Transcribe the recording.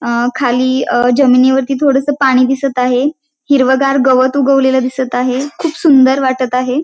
अअ खाली जमिनीवरती थोडंसं पाणी दिसत आहे हिरवंगार गवत उगवलेलं दिसत आहे खूप सुंदर वाटत आहे.